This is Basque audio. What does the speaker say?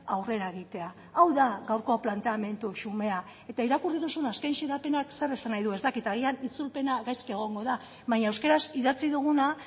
aurrera egitea hau da gaurko planteamendu xumea eta irakurri duzun azken xedapenak zer esan nahi du ez dakit agian itzulpena gaizki egongo da baina euskaraz idatzi duguna